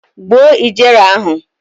Gbuo ijere ahụ!